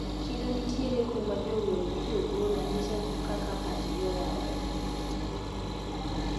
Chiro nitiere kuma jower gi jogoro nyiso kaka pachgi oyawre.